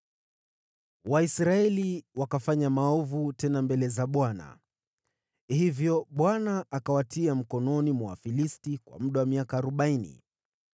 Waisraeli wakafanya maovu tena mbele za Bwana . Hivyo Bwana akawatia mikononi mwa Wafilisti kwa muda wa miaka arobaini.